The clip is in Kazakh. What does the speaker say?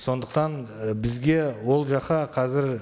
сондықтан і бізге ол жаққа қазір